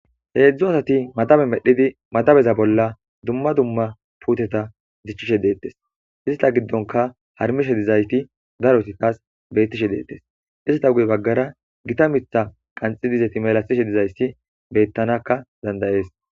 heedzdzu asati madabe medhidi madabeza bolla dumma dumma puuteta dichchishe deettes ista giddonka harmishe dizaysti daroti taas beyttishe deettes ista guye baggara gita mitha qanxid izeti melatishe dizayssi beyttanakka danda'ees